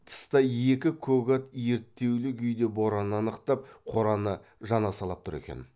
тыста екі көк ат ерттеулі күйде бораннан ықтап қораны жанасалап тұр екен